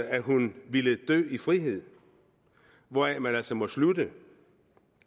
at hun ville dø i frihed hvoraf man altså må slutte